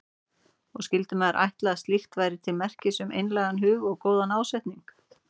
Og skyldi maður ætla að slíkt væri til merkis um einlægan hug og góðan ásetning.